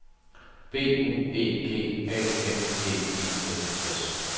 B U E G A N G E N S